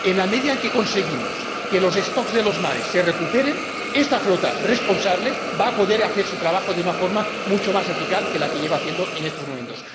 En la medida en que consigamos que los de los mares se recuperen, esta flota responsable va a poder hacer su trabajo de una forma mucho más eficaz que como lo está haciendo en estos momentos.